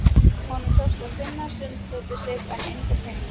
Honum tókst að finna sunddótið sitt en enga peninga.